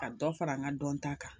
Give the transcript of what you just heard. Ka dɔ fara n ka dɔnta kan